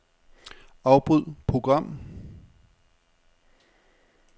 Afbryd program.